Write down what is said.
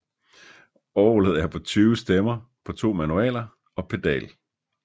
Orgelet er på 20 stemmer på to manualer og pedal